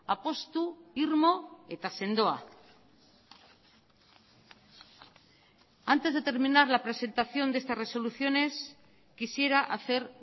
apustu irmo eta sendoa antes de terminar la presentación de estas resoluciones quisiera hacer